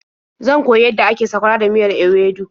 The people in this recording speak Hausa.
Zan koyi yadda ake sakwara da miyar ewedu.